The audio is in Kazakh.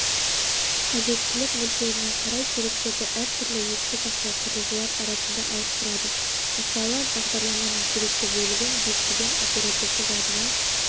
қажеттілік мөлшеріне қарай деректерді әртүрлі есте сақтау құрылғылар арасында ауыстырады мысалы бағдарламаның керекті бөлігін дискіден оперативті жадыға